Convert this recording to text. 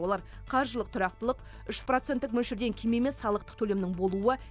олар қаржылық тұрақтылық үш проценттік мөлшерден кем емес салықтық төлемнің болуы